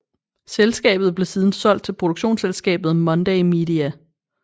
Selskabet blev siden solgt til produktionsselskabet Monday Media